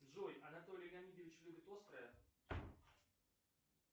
джой анатолий леонидович любит острое